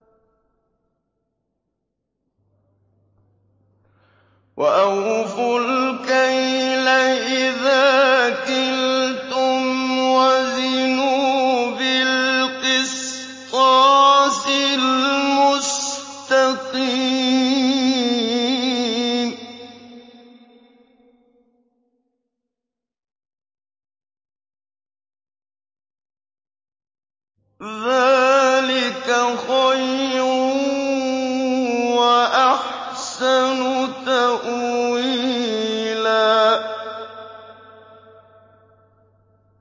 وَأَوْفُوا الْكَيْلَ إِذَا كِلْتُمْ وَزِنُوا بِالْقِسْطَاسِ الْمُسْتَقِيمِ ۚ ذَٰلِكَ خَيْرٌ وَأَحْسَنُ تَأْوِيلًا